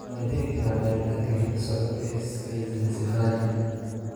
Ma la heli karaa baaritaanka hidda-socodka ee schizencephaly?